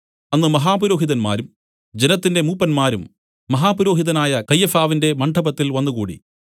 അന്ന് മഹാപുരോഹിതന്മാരും ജനത്തിന്റെ മൂപ്പന്മാരും മഹാപുരോഹിതനായ കയ്യഫാവിന്റെ മണ്ഡപത്തിൽ വന്നുകൂടി